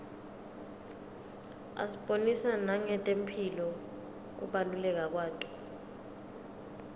asibonisa nangetemphilo kubaluleka kwato